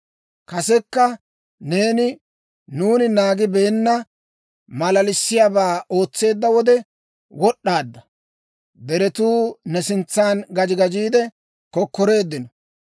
Kasekka neeni nuuni naagibeenna maalalissiyaabaa ootseedda wode wod'd'aadda; deretuu ne sintsan gaji gajiide kokkoreeddino.